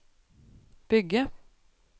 bygge